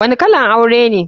Wani kalan aure ne?